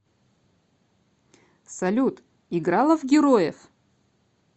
салют играла в героев